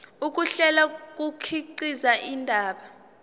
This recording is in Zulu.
ukuhlela kukhiqiza indaba